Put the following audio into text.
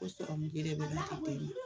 O kelen bɛ na k'i teri ye